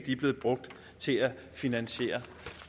er blevet brugt til at finansiere